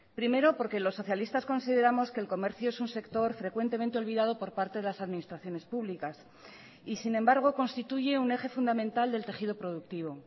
primero porque los socialistas consideramos que el comercio es un sector frecuentemente olvidado por parte de las administraciones públicas y sin embargo constituye un eje fundamental del tejido productivo